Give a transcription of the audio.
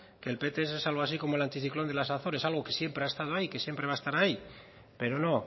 que el pts es algo así como el anticiclón de las azores algo que siempre ha estado ahí que siempre va a estar ahí pero no